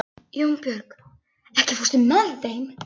Jónbjörg, ekki fórstu með þeim?